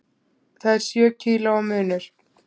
Það er sjö kílóa munur.